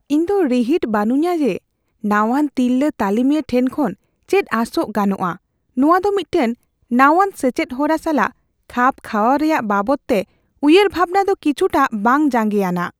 ᱤᱧᱫᱚ ᱨᱤᱦᱤᱴ ᱵᱟᱹᱱᱩᱧᱟ ᱡᱮ ᱱᱟᱣᱟᱱ ᱛᱤᱨᱞᱟᱹ ᱛᱟᱹᱞᱤᱢᱤᱭᱟᱹ ᱴᱷᱮᱱ ᱠᱷᱚᱱ ᱪᱮᱫ ᱟᱥᱚᱜ ᱜᱟᱱᱚᱜᱼᱟ ᱾ᱱᱚᱶᱟ ᱫᱚ ᱢᱤᱫᱴᱟᱝ ᱱᱟᱣᱟᱱ ᱥᱮᱪᱮᱫ ᱦᱚᱨᱟ ᱥᱟᱞᱟᱜ ᱠᱷᱟᱯ ᱠᱷᱟᱣᱟᱣ ᱨᱮᱭᱟᱜ ᱵᱟᱵᱚᱫᱛᱮ ᱩᱭᱦᱟᱹᱨᱵᱷᱟᱵᱱᱟ ᱫᱚ ᱠᱤᱪᱷᱩᱴᱟᱜ ᱵᱟᱝ ᱡᱟᱸᱜᱮᱭᱟᱱᱟᱜ ᱾